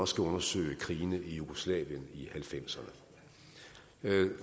skal undersøge krigene i jugoslavien i nitten halvfemserne